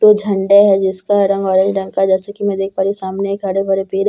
दो झंडे है जिसका रंग आरेंज रंग का जैसे कि मैं देख पा रही हूं एक सामने हरे भरे पेड़--